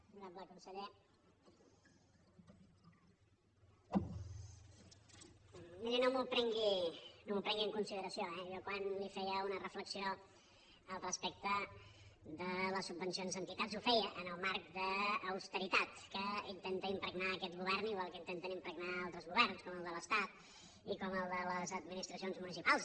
honorable conseller miri no m’ho prengui en consideració eh jo quan li feia una reflexió respecte de les subvencions a entitats ho feia en el marc d’austeritat que intenta impregnar aquest govern igual que intenta impregnar altres governs com el de l’estat i com el de les administracions municipals